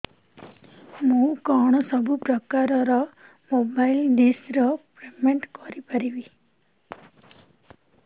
ମୁ କଣ ସବୁ ପ୍ରକାର ର ମୋବାଇଲ୍ ଡିସ୍ ର ପେମେଣ୍ଟ କରି ପାରିବି